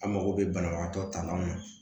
An mago bɛ banabagatɔ ta la